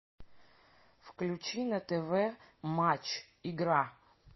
включи на тв матч игра